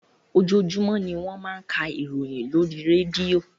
Ojoojumọ ni wọ́n máa ń ká ìròyìn lórí rédíò.